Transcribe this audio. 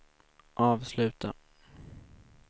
avsluta